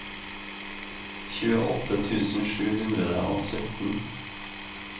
tjueåtte tusen sju hundre og sytten